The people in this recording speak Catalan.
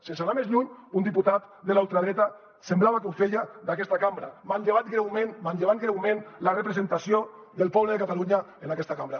sense anar més lluny un diputat de la ultradreta semblava que ho feia d’aquesta cambra manllevant greument la representació del poble de catalunya en aquesta cambra